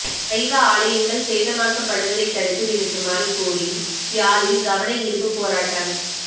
சைவ ஆலயங்கள் சேதமாக்கப்படுவதை தடுத்து நிறுத்துமாறு கோரி யாழில் கவனயீர்ப்பு போராட்டம்